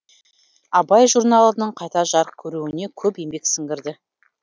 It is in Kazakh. абай журналының қайта жарық көруіне көп еңбек сіңірді